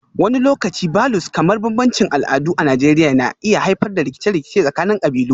Wani lokaci Vulues kamar bambancin al'adu a Najeriya na iya haifar da rikice-rikice tsakanin kabilu